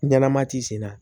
Ɲalama ti sen na